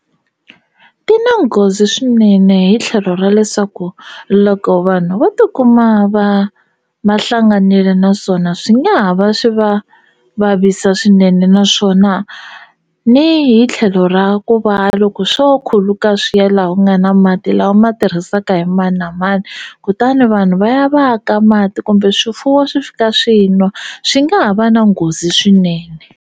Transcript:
Ti na nghozi swinene hi tlhelo ra leswaku loko vanhu vo tikuma va va hlanganile naswona swi nga ha va swi va vavisa swinene naswona ni hi tlhelo ra ku va loko swo khuluka swi ya laha ku nga na mati lawa ma tirhisaka hi mani na mani kutani vanhu va ya va ya ka mati kumbe swifuwo swi fika swi nwa swi nga ha va na nghozi swinene.